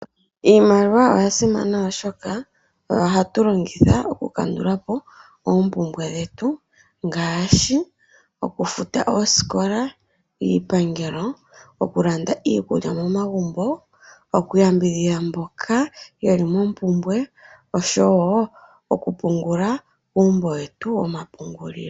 Iimaliwa oya simana oshoka oyo hatu longitha oku kandulapo oompumbwe dhetu ngashi okufuta ooskola, iipangelo, oku landa iikulya momagumbo, okuya mbidhidha mboka yeli mopumbwe oshowo okupungula kuumbo wetu woma pungulilo.